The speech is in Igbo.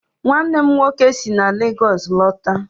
Nwannem nwoke si na Lagos lọta